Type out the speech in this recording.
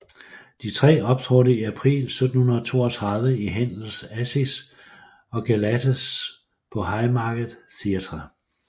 De tre optrådte i april 1732 i Händels Acis og Galates på Haymarket theatre